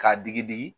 K'a digi digi